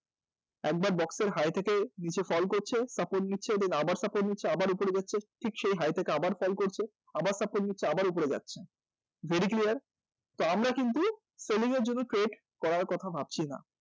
একবার box এর high থেকে নীচে fall করছে তারপর support নিচ্ছে তারপর আবার support নিচ্ছে তারপর আবার উপরে যাচ্ছে ঠিক সেই high থেকে আবার fall করছে আবার support নিচ্ছে আবার উপরে যাচ্ছে very clear? তা আমরা কিন্তু selling এর জন্য wait করার কথা ভাবছি না